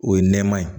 O ye nɛma ye